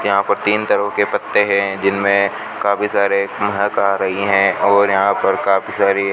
यहां पर तीन तरह के पत्ते हैं जिनमें काफी सारे महक आ रही हैं और यहां पर काफी सारी --